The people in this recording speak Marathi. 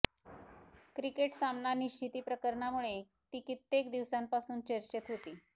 क्रिकेट सामना निश्चिती प्रकरणामुळे ती कित्येक दिवसांपासून चर्चेत होती